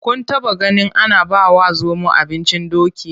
Kun taɓaganin ana bawa zomo abincin doki?